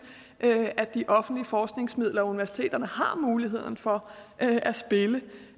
at de offentlige forskningsmidler og universiteterne har muligheden for